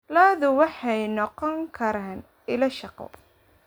Xooluhu waxay noqon karaan ilo shaqo.